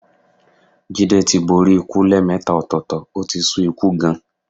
Jídé tí borí ikú lẹ́ẹ̀mẹta ọ̀tọ̀ọ̀tọ̀, ó ti sú ikú gan-an.